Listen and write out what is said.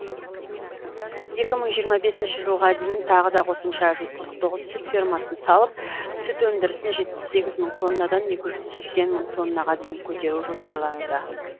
екі мың жиырма бесінші жылға дейін тағы да қосымша жүз қырық тоғыз сүт фермасын салып сүт өндірісін жетпіс сегіз мың тоннадан екі жүз сексен мың тоннаға дейін көтеру жоспарлануда